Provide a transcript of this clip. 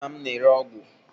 Nna m na-ere ọgwụ.